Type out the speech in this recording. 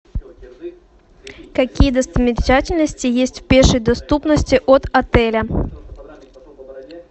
какие достопримечательности есть в пешей доступности от отеля